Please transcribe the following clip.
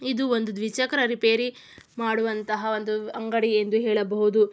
ಇದು ಒಂದು ದ್ವಿಚಕ್ರ ರಿಪೇರಿ ಮಾಡುವಂತಹ ಒಂದು ಅಂಗಡಿ ಎಂದು ಹೇಳಬಹುದು.